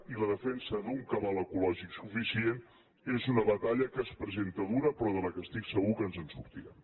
i la defensa d’un cabal ecològic suficient és una batalla que es presenta dura però de la qual estic segur que ens en sortirem